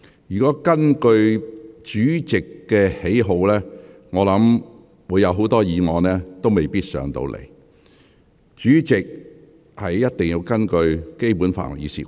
如果根據主席的喜好作決定，我想很多議案未必會獲准提交立法會。